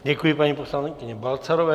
Děkuji paní poslankyni Balcarové.